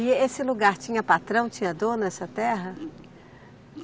E esse lugar tinha patrão, tinha dono, essa terra?